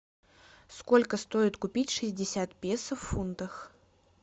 сколько стоит купить шестьдесят песо в фунтах